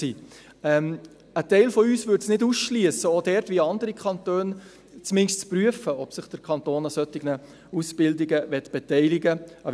Ein Teil von uns würde es nicht ausschliessen, dort – wie zumindest andere Kantone – zu prüfen, ob sich der Kanton an solchen Ausbildungen beteiligen möchte.